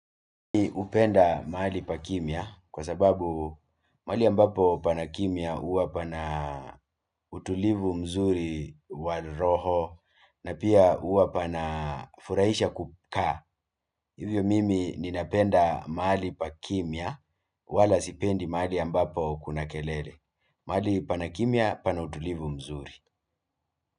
Hupenda mahali pa kimya kwa sababu mahali ambapo pana kimya huwa pana utulivu mzuri wa roho na pia huwa pana furahisha kukaa. Hivyo mimi ninapenda mahali pa kimya wala sipendi mahali ambapo kuna kelele. Mahali pana kimya pana utulivu mzuri.